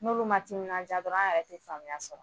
N'olu man timinandiya dɔrɔn an yɛrɛ tɛ faamuya sɔrɔ